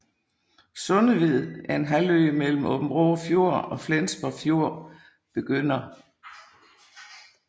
Sundeved er en halvø mellem Aabenraa Fjord og Flensborg Fjord begynder